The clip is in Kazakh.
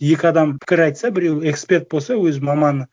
екі адам пікір айтса біреуі эксперт болса өз маманы